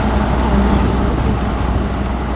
और अलमारी लोग भी दिखाई दे रहे हमक --